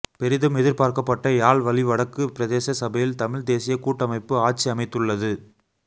பெரிதும் எதிர் பார்க்கப்பட்ட யாழ் வலி வடக்கு பிரதேச சபையில் தமிழ்த் தேசியக் கூட்டமைப்பு ஆட்சி அமைத்துள்ளது